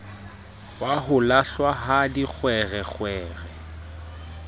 wa ho lahlwa ha dikgwerekgwere